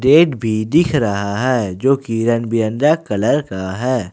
Gate भी दिख रहा है जो की रंग बिरंगा कलर का है।